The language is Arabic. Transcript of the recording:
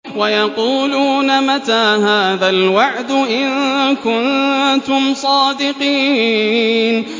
وَيَقُولُونَ مَتَىٰ هَٰذَا الْوَعْدُ إِن كُنتُمْ صَادِقِينَ